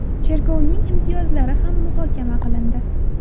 Cherkovning imtiyozlari ham muhokama qilindi.